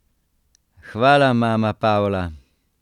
Hvala, mama Pavla!